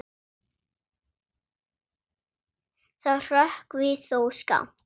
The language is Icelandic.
Það hrökkvi þó skammt.